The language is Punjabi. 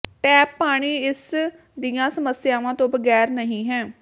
ਟੈਪ ਪਾਣੀ ਇਸ ਦੀਆਂ ਸਮੱਸਿਆਵਾਂ ਤੋਂ ਬਗੈਰ ਨਹੀਂ ਹੈ